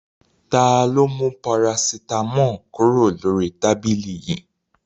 Ta ló mú parasítámọ̀ kúrò lórí tábìlì yìí?